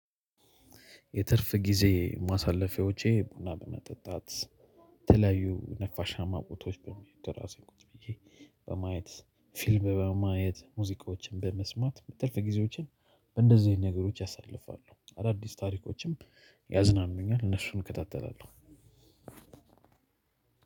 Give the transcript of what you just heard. የትርፍ ጊዜ ማሳለፊያዎቼ ቡና በመጠጣት የተለያዩ ነፋሻማ ቦታዎች ጥላ ስር ቁጭ ብዬ በማየት ፊልም በማየት ሙዚቃዎችን በመስማት ትርፍ ጊዜዎችን በእንደዚህ አይነት ነገሮች አሳልፋለሁ። አዳዲስ ታሪኮችም ያዝናኑኛል እነሱን እከታተላለሁ።